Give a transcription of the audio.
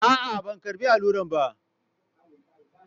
A'a, ban karɓi allurar ba.